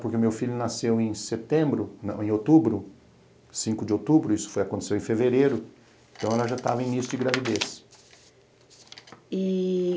Porque o meu filho nasceu em setembro, não, em outubro, cinco de outubro, isso aconteceu em fevereiro, então ela já estava no início de gravidez. E